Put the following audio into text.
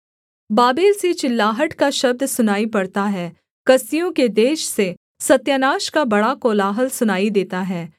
Babel से चिल्लाहट का शब्द सुनाई पड़ता है कसदियों के देश से सत्यानाश का बड़ा कोलाहल सुनाई देता है